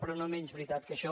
però no menys veritat que això